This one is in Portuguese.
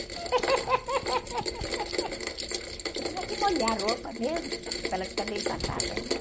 Você tinha que molhar a roupa mesmo para ela ficar bem passada, né?